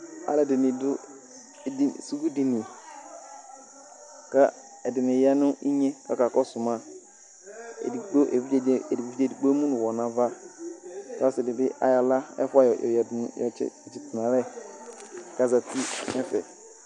aloɛdini do edini suku dini k'edini ya n'inye kò aka kɔsu ma edigbo evidze edigbo emu n'uwɔ n'ava k'ɔse di bi ayɔ ala ɛfua oyadu ɔtsi to n'alɛ k'azati n'ɛfɛ